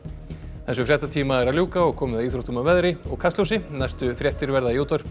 þessum fréttatíma er að ljúka og komið að íþróttum veðri og Kastljósi næstu fréttir verða í útvarpi